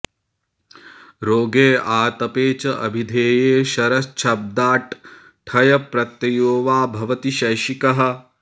रोगे आतपे च अभिधेये शरच्छब्दाट् ठञ् प्रत्ययो वा भवति शैषिकः